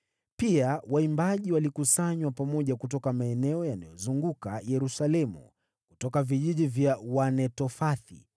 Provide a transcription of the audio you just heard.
Pia waimbaji walikusanywa pamoja kutoka maeneo yaliyozunguka Yerusalemu, kutoka vijiji vya Wanetofathi,